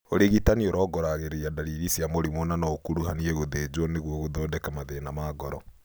ũrigitani ũrongoragĩria ndariri cia mũrimũ na no ũkuruhanie gũthĩnjwo nĩguo gũthondeka mathĩna ma ngoro